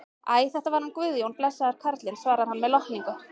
Æ, þetta var hann Guðjón, blessaður karlinn, svarar hann með lotningu.